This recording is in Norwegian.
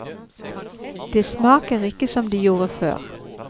De smaker ikke som de gjorde før.